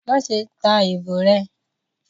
Maṣe ta ibo rẹ!